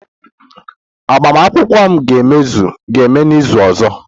Agbamakwụkwọ m ga-eme n'izu ọzọ